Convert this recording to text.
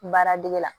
Baaradege la